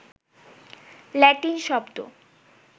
Latin শব্দ